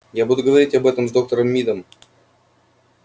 я буду говорить об этом с доктором мидом